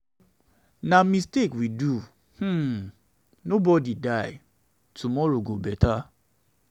na mistake we do um nobody die. tomorrow go beta.